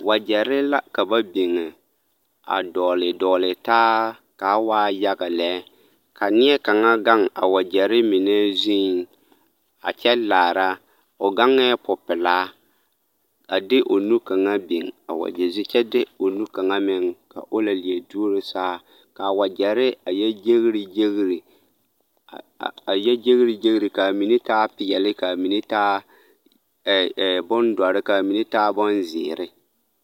Wagyɛre la ka ba biŋ a dɔgele dɔgele taa k'a waa yaga lɛ ka neɛkaŋa gaŋ a wagyɛre mine zuŋ a kyɛ laara, o gaŋɛɛ popelaa a de o nu kaŋa biŋ a wagyɛ zu kyɛ de o nu kaŋa meŋ ka o la leɛ duoro saa k'a wagyɛre a yɛ gyeri gyeri, a yɛ gyeri gyeri k'a mine taa peɛle k'a mine taa ɛɛ ɛɛ bondɔre k'a mine taa bonzeere.